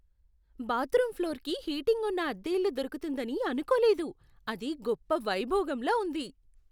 Bathroom ఫ్లోర్కి heating ఉన్న అద్దె ఇల్లు దొరుకుతుందని అనుకోలేదు. అది గొప్ప వైభోగంలా ఉంది!